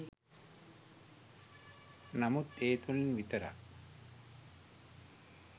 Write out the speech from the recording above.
නමුත් ඒ තුළින් විතරක්